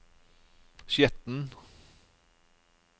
Skjetten